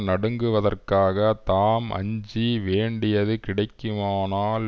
நடுங்குவதற்காக தாம் அஞ்சி வேண்டியது கிடைக்ககுமானால்